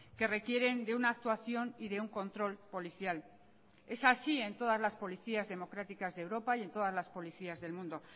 que requieren de una actuación y de un control policial es así en todas las policías democráticas de europa y en todas las policías del mundo